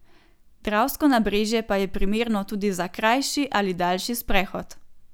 Dravsko nabrežje pa je primerno tudi za krajši ali daljši sprehod.